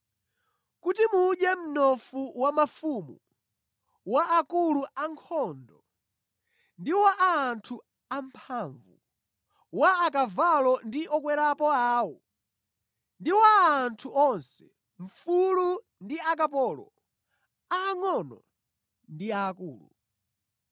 Kuti mudye mnofu wa mafumu, wa akulu a ankhondo, ndi wa anthu amphamvu, wa akavalo ndi okwerapo awo, ndi wa anthu onse, mfulu ndi akapolo, angʼono ndi aakulu.”